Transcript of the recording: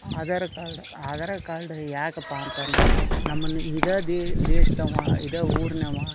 Aadhaar card Aadhaar card ಯಾಕಪ್ಪಅಂತ ಅಂದ್ರ ನಮ್ಮನ್ನು ಇದೆ ದೇಶದವ ಇದೆ ಊರಿನವ --